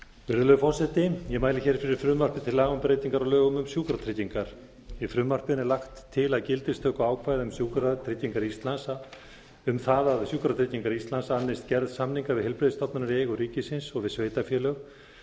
virðulegi forseti ég mæli hér fyrir frumvarp til laga um breytingu á lögum um sjúkratryggingar í frumvarpinu er lagt til að gildistökuákvæði um það að sjúkratryggingar íslands annist gerð samninga við heilbrigðisstofnanir í eigu ríkisins og við sveitarfélög